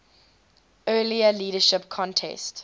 earlier leadership contest